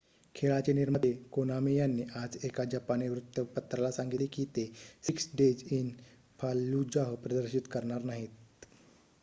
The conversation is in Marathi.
खेळाचे निर्माते कोनामी यांनी आज एका जपानी वृत्तपत्राला सांगितले की ते सिक्स डेज इन फाल्लुजाह प्रदर्शित करणार नाहीत